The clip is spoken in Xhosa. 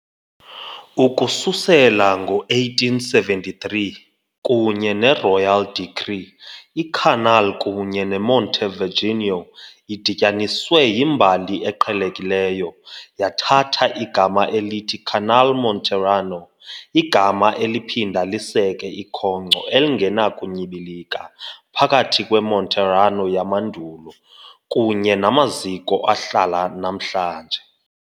Ukususela ngo-1873, kunye ne-Royal Decree, i-Canale kunye ne-Montevirginio, idityaniswe yimbali eqhelekileyo, yathatha igama elithi "Canale Monterano", igama eliphinda liseke ikhonkco elingenakunyibilika phakathi kweMonterano yamandulo kunye namaziko ahlala namhlanje.